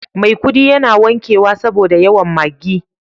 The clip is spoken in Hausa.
maikudi yana wankewa saboda yawan Maggi.